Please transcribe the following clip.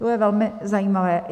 To bude velmi zajímavé.